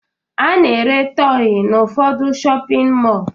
A na-ere tọyị n'ụfọdụ shọpịn mọọ